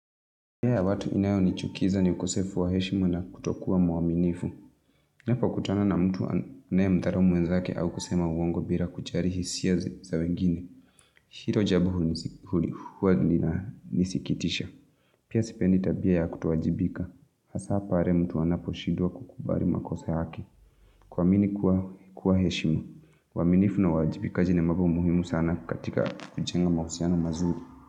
Hea ya watu inayo nichukiza ni ukosefu wa heshimu na kutokuwa mwaminifu. Ninapo kutana na mtu anae mdharau mwenzake au kusema uongo bila kuchali hisia za wengine. Hilo jabu huwa lina nisikitisha. Pia sipendi tabia ya kutowajibika. Hasa hapali are mtu anapo shidwa kukubali makosa yake. Kuamini kuwa heshimu. Uwaminifu na uwajibikaji ni mambo muhimu sana katika kujenga mahusiano mazuli.